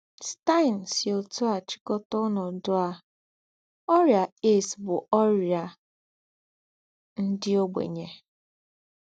Stine sí ótú à chị̀kọ́tà ònọ́dú à: “Órị́à AIDS bú órị́à ndí́ ọ̀gbènyè.”